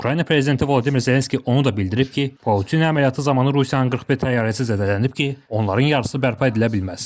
Ukrayna prezidenti Vladimir Zelenski onu da bildirib ki, Pauçina əməliyyatı zamanı Rusiyanın 41 təyyarəsi zədələnib ki, onların yarısı bərpa edilə bilməz.